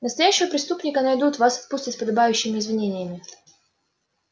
настоящего преступника найдут вас отпустят с подобающими извинениями